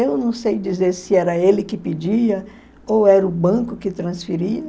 Eu não sei dizer se era ele que pedia ou era o banco que transferia,